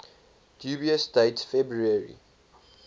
dubious date february